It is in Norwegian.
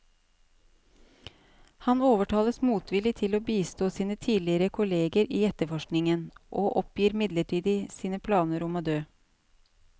Han overtales motvillig til å bistå sine tidligere kolleger i etterforskningen, og oppgir midlertidig sine planer om å dø.